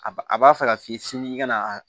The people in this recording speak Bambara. A b'a a b'a fɛ ka f'i ye sini ka na